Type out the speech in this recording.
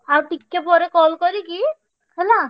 ଆଉ ଟିକେ ପରେ call କରିକି ହେଲା,